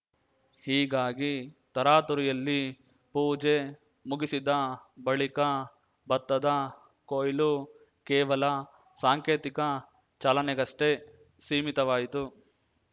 ಹೀಗಾಗಿ ತರಾತುರಿಯಲ್ಲಿ ಪೂಜೆ ಮುಗಿಸಿದ ಬಳಿಕ ಭತ್ತದ ಕೊಯ್ಲು ಕೇವಲ ಸಾಂಕೇತಿಕ ಚಾಲನೆಗಷ್ಟೇ ಸೀಮಿತವಾಯಿತು